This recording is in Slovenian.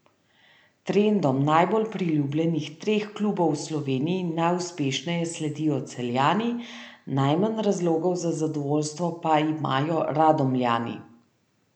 Trendom najbolj priljubljenih treh klubov v Sloveniji najuspešneje sledijo Celjani, najmanj razlogov za zadovoljstvo pa imajo Radomljani.